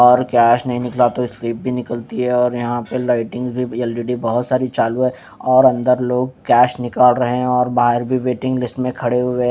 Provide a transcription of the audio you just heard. और कैश नहीं निकला तो स्लिप भी निकलती है और यहां पे लाइटिंग भी एल_ई_डी बहोत सारी चालू है और अंदर लोग कैश निकाल रहे हैं और बाहर भी वेटिंग लिस्ट में खड़े हुए--